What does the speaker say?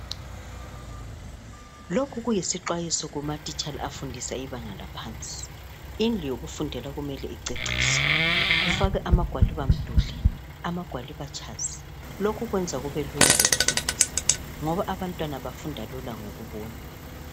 Lokhu kuyisxwayiso kumatitsha afundisa ibanga laphansi. Indlu yokufundela kumele iceciswe, kufakwe amagwaliba mduli, amagwaliba tshazi. Lokhu kwenza kubelula lokufundisa ngoba abantwana bafunda lula ngokubona.